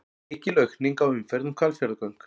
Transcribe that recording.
Mikil aukning á umferð um Hvalfjarðargöng